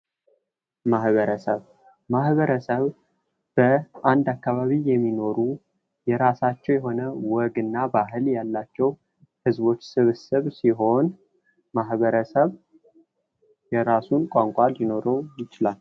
ማህበረሰብ ማህበረሰብ በአንድ አካባቢ የሚኖሩ የራሳቸው ወግ እና ባህል ያላቸው ህዝቦች ስብስብ ሲሆን ማህበረሰብ የራሱ ቋንቋ ሊኖረው ይችላል ።